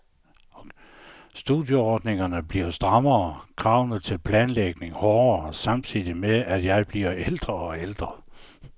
Studieordningerne bliver strammere, kravene til planlægning hårdere, samtidig med, at jeg bliver ældre og ældre.